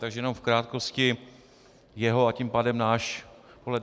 Takže jenom v krátkosti, jeho a tím pádem náš pohled.